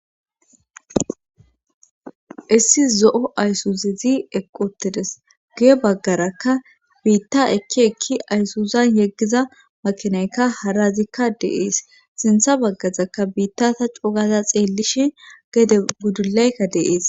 issi zo'o aysuzezi eqi utides guye baggarakka biitta ekki ekki ayssuzan yeggiza makinaykka harazikka dee'es sintha baggazakka biitta ta cogaza xeellishin gede gudulaykka dee'es